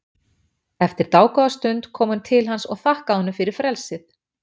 Eftir dágóða stund kom hún til hans og þakkaði honum fyrir frelsið.